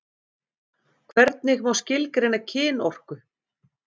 Hvernig má skilgreina kynorku?